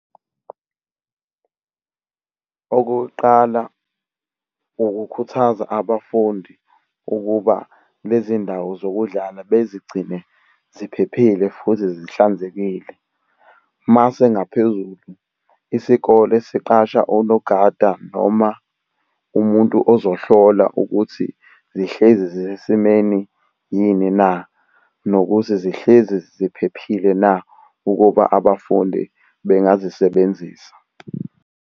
Okokuqala, ukukhuthaza abafundi ukuba lezi ndawo zokudlala bazigcine ziphephile futhi zihlanzekile. Mase ngaphezulu isikole siqashe onogada noma umuntu ozohlola ukuthi zihlezi zisesimeni yini na? Nokuthi zihlezi ziphephile na? Ukuba abafundi bengazisebenzisa.